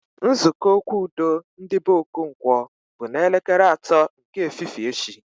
Nzukọ okwu udo ndị be Okonkwo bụ na elekere atọ nke efifie echi